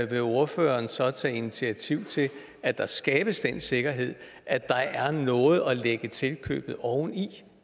vil ordføreren så tage initiativ til at der skabes den sikkerhed at der er noget at lægge tilkøbet oven i